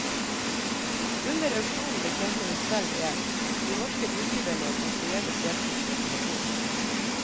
Under auksjonen betjente hun selv en de norske budgiverne som forgjeves deltok på telefon.